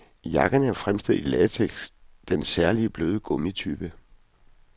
Jakkerne er fremstillet i latex, den særligt bløde gummitype.